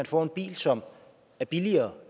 får en bil som er billigere